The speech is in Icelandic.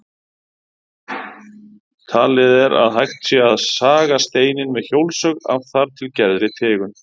Talið er að hægt sé að saga steininn með hjólsög af þar til gerðri tegund.